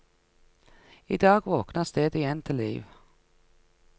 I dag våkner stedet igjen til liv.